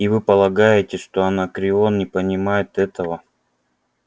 и вы полагаете что анакреон не понимает этого